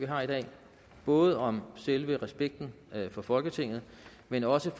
har i dag både om selve respekten for folketinget men også